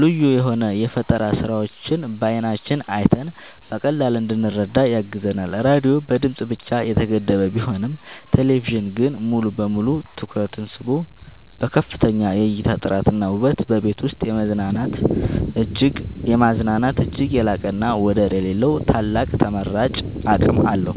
ልዩ የሆኑ የፈጠራ ስራዎችን በዓይናችን አይተን በቀላሉ እንድንረዳ ያግዘናል። ራዲዮ በድምጽ ብቻ የተገደበ ቢሆንም ቴሌቪዥን ግን ሙሉ በሙሉ ትኩረትን ስቦ በከፍተኛ የእይታ ጥራትና ውበት በቤት ውስጥ የማዝናናት እጅግ የላቀና ወደር የሌለው ታላቅ ተመራጭ አቅም አለው።